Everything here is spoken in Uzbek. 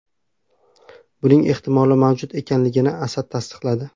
Buning ehtimoli mavjud ekanligini Asad tasdiqladi.